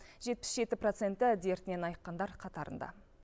жетпіс жеті проценті дертінен айыққандар қатарында